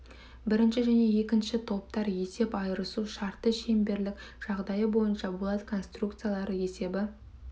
бірінші және екінші топтар есеп айырысу шарты шеңберлік жағдайы бойынша болат конструкциялары есебі